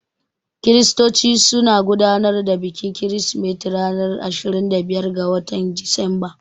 Kiristoci suna gudanar da bikin kirsimeti ranar ashirin da biyar ga watan Disamba.